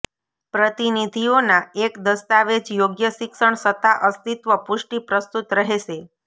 પ્રતિનિધિઓના એક દસ્તાવેજ યોગ્ય શિક્ષણ સત્તા અસ્તિત્વ પુષ્ટિ પ્રસ્તુત રહેશે